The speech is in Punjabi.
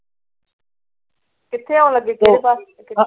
ਕਿੱਥੇ ਆਉਣ ਲੱਗੀ ਕਿਹੜੇ ਪਾਸੇ? ਇੱਥੇ ਸਾਡੇ ਪਿੰਡ ਪਾਸੇ। ਹਾਏ! ਕਹਿੰਦੀ ਬੜਾ ਚੰਗਾ ਏ ਥਾਂ।